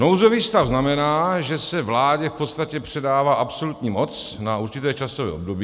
Nouzový stav znamená, že se vládě v podstatě předává absolutní moc na určité časové období.